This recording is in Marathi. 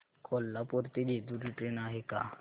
कोल्हापूर ते जेजुरी ट्रेन आहे का